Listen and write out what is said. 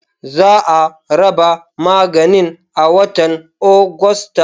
Za a raba maganin a watan Agusta.